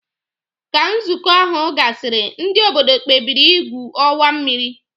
Ka nzukọ ahu gasiri ndi obodo kpebiri igwu owa mmiri.